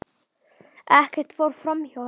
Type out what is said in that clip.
Ekkert fór framhjá henni.